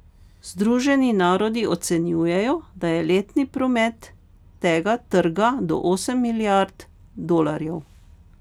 Združeni narodi ocenjujejo, da je letni promet tega trga do osem milijard dolarjev.